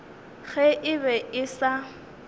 ge e be e sa